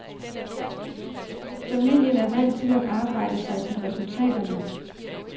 Familien er vant til at arbejde sig til resultaterne.